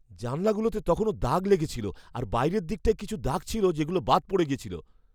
জানালাগুলোতে তখনও দাগ লেগে ছিল আর বাইরের দিকটায় কিছু দাগ ছিল যেগুলো বাদ পড়ে গেছিল।